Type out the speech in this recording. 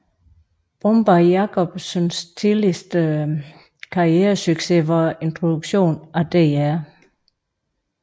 Bombay Jakobsens tidligste karrieresucces var introduktionen af Dr